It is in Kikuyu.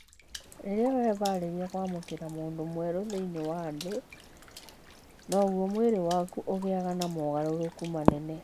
Rĩrĩa wehaarĩria kwamũkĩra mũndũ mwerũ thĩinĩ wa thĩ, noguo mwĩrĩ waku ũgiaga na mogarũrũku manene.